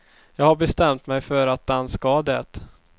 Jag har bestämt mig för att den ska det.